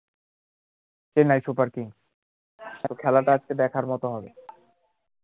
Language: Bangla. চেন্নাই সুপার কিংস আর খেলাটা আজকে দেখার মতো হবে